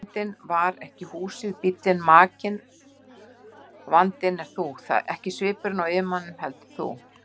Vandinn var ekki húsið, bíllinn, makinn, vandinn ert þú, ekki svipurinn á yfirmanninum, heldur þú.